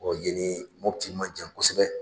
O ye nii Mopti ma jan kosɛbɛ